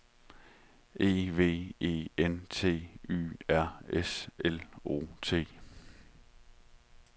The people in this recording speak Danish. E V E N T Y R S L O T